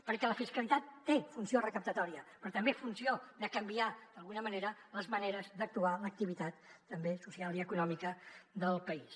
perquè la fiscalitat té funció recaptatòria però també funció de canviar d’alguna manera les maneres d’actuar l’activitat també social i econòmica del país